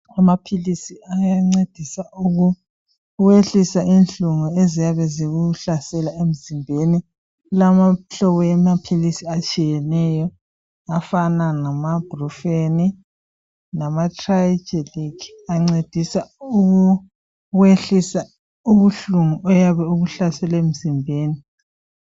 Amaphilisi ayancedisa ukwehlisa inhlungu eziyabe zikuhlasele emzimbeni kulemihlobo yamaphilisi atshiyeneyo afana lama brufen lama trialgic ancedisa ukwehlisa ubuhlungu oyabe bukuhlasele emzimbeni.